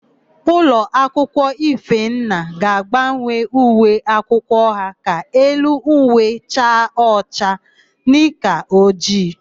Ulọakwụkwọ Ifenna ga-agbanwe uwe akwụkwọ ha ka elu uwe chaa ọcha, nika ojii.